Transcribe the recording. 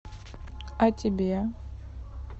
а тебе